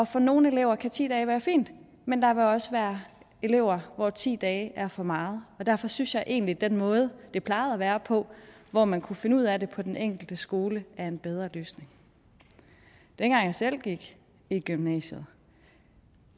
for nogle elever kan ti dage være fint men der vil også være elever hvor ti dage er for meget derfor synes jeg egentlig at den måde det plejede at være på hvor man kunne finde ud af det på den enkelte skole er en bedre løsning dengang jeg selv gik i gymnasiet